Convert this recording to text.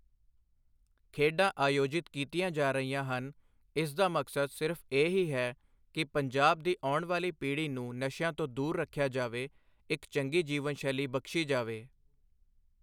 ਖੇਡਾਂ ਆਯੋਜਿਤ ਕੀਤੀਆਂ ਜਾ ਰਹੀਆਂ ਹਨ ਇਸਦਾ ਮਕਸਦ ਸਿਰਫ ਇਹ ਹੀ ਹੈ ਕਿ ਪੰਜਾਬ ਦੀ ਆਉਣ ਵਾਲੀ ਪੀੜ੍ਹੀ ਨੂੰ ਨਸ਼ਿਆਂ ਤੋਂ ਦੂਰ ਰੱਖਿਆ ਜਾਵੇ ਇੱਕ ਚੰਗੀ ਜੀਵਨਸ਼ੈਲੀ ਬਖਸ਼ੀ ਜਾਵੇ।